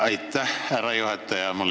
Aitäh, härra juhataja!